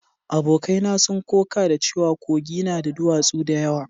Abokai na sun koka da cewa Kogi na da duwatsu da yawa